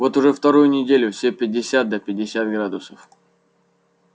вот уже вторую неделю все пятьдесят да пятьдесят градусов